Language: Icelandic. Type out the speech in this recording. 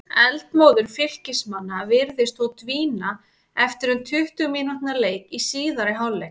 Eldmóður Fylkismanna virtist þó dvína eftir um tuttugu mínútna leik í síðari hálfleik.